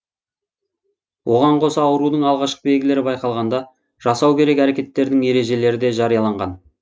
оған қоса аурудың алғашқы белгілері байқалғанда жасау керек әрекеттердің ережелері де жарияланған